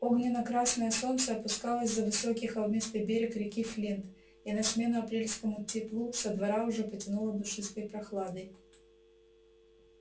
огненно-красное солнце опускалось за высокий холмистый берег реки флинт и на смену апрельскому теплу со двора уже потянуло душистой прохладой